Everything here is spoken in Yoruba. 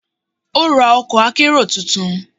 Ó ra ọkọ̀ akérò tuntun.